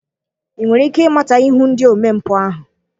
Ị nwere ike ịmata ihu ndị omempụ ahụ?